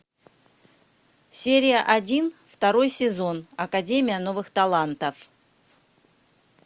серия один второй сезон академия новых талантов